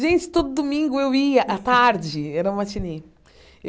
Gente, todo domingo eu ia, à tarde, era um matinê.